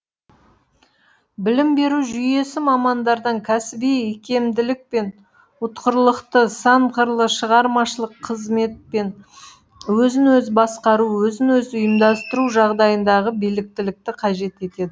білім беру жүйесі мамандардан кәсіби икемділік пен ұтқырлықты сан қырлы шығармашылық қызмет пен өзін өзі басқару өзін өзі ұйымдастыру жағдайындағы біліктілікті қажет етеді